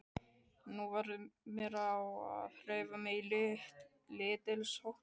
Nú varð mér á að hreyfa mig lítilsháttar.